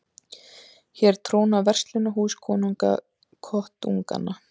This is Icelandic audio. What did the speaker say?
Hér tróna verslunarhús konunga kotunganna